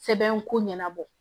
Sɛbɛn ko ɲɛnabɔ